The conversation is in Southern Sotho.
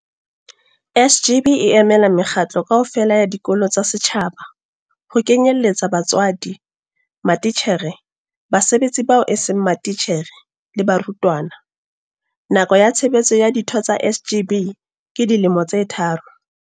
SGB e emela mekgatlo kaofela ya dikolo tsa setjhaba, ho kenyelletsa batswadi, matitjhere, basebetsi bao eseng matitjhere le barutwana. Nako ya tshebetso ya ditho tsa SGB ke dilemo tse tharo.